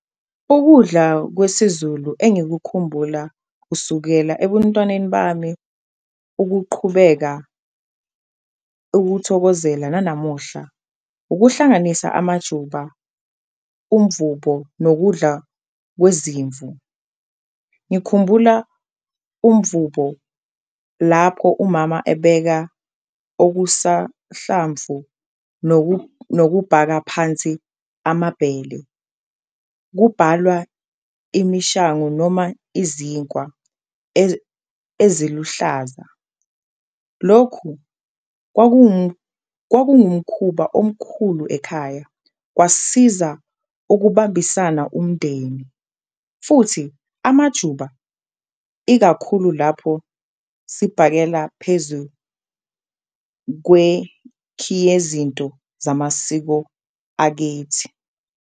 Ukudla kwesiZulu engikukhumbula kusukela ebuntwaneni bami ukuqhubeka ukuwuthokozela nanamuhla, ukuhlanganisa amajuba, umvubo nokudla kwezimvu. Ngikhumbula umvubo lapho umama ebeka okusa hlamvu nokubhaka phansi amabhele kubhalwa imishangu noma izinkwa eziluhlaza. Lokhu kwakuwumkhuba omkhulu ekhaya kwasiza ukubambisana umndeni futhi amajuba ikakhulu lapho sibhakela phezu kwekhiyezinto zamasiko akithi.